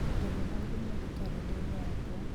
tharia maũndũ mothe karenda-inĩ yakwa